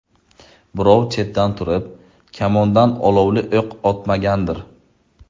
Birov chetdan turib, kamondan olovli o‘q otmagandir?!